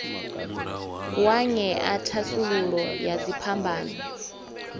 wa ṅea thasululo ya dziphambano